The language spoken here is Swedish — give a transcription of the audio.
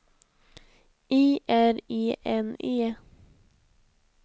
I R E N E